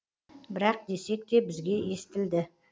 бірақ десек те бізге естілді